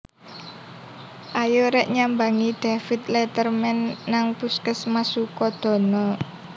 Ayo rek nyambangi David Letterman nang puskesmas Sukodono